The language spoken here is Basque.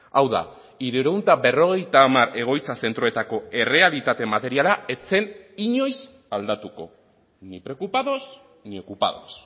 hau da hirurehun eta berrogeita hamar egoitza zentroetako errealitate materiala ez zen inoiz aldatuko ni preocupados ni ocupados